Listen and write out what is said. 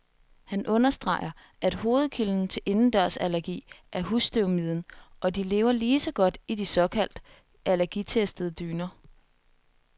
Han understreger, at hovedkilden til indendørsallergi er husstøvmiden, og de lever lige så godt i de såkaldt allergitestede dyner.